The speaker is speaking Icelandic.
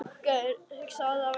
Hann var vakinn snemma.